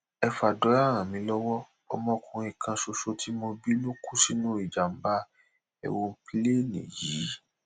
ẹ fàdúrà ràn mí lọwọ ọmọkùnrin kan ṣoṣo tí mo bí ló kú sínú ìjàmbá èròǹpilẹẹni yìí